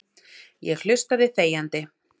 Ég hlustaði þegjandi.